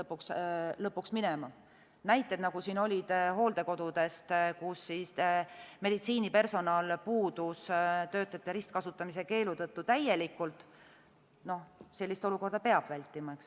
Sellist olukorda, nagu oli näites hooldekodudest, kus meditsiinipersonal puudus töötajate ristkasutamise keelu tõttu täielikult, peab vältima.